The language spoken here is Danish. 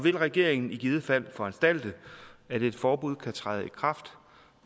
vil regeringen i givet fald foranstalte at et forbud kan træde i kraft